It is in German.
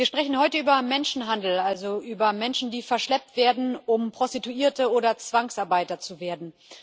Wir sprechen heute über Menschenhandel also über Menschen, die verschleppt werden, um Prostituierte oder Zwangsarbeiter zu werden.